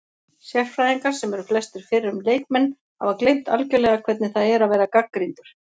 Sérfræðingar, sem eru flestir fyrrum leikmenn, hafa gleymt algjörlega hvernig það er að vera gagnrýndur